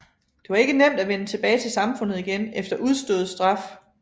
Det var ikke nemt at vende tilbage til samfundet igen efter udstået straf